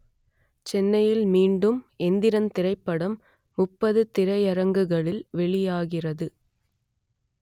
சென்னையில் மட்டும் எந்திரன் திரைப்படம் முப்பது திரையரங்குகளில் வெளியாகிறது